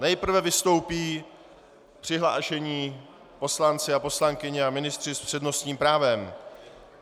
Nejprve vystoupí přihlášení poslanci a poslankyně a ministři s přednostním právem.